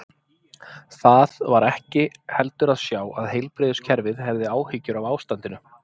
Það var ekki heldur að sjá að heilbrigðiskerfið hefði áhyggjur af ástandinu.